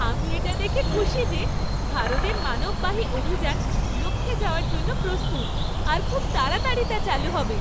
আমি এটা দেখে খুশি যে ভারতের মানববাহী অভিযান লক্ষ্যে যাওয়ার জন্য প্রস্তুত আর খুব তাড়াতাড়ি তা চালু হবে।